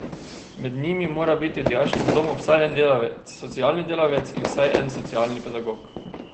Med njimi mora biti v dijaškem domu vsaj en delavec socialni delavec in vsaj en socialni pedagog.